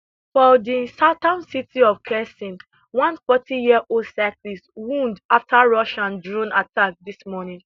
for di southern city of kherson one fourty yearold cyclist wound afta russian drone attack dis morning